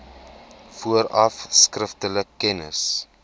vooraf skriftelik kennis